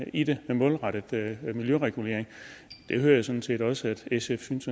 i det er målrettet miljøregulering og det hører jeg sådan set også sf synes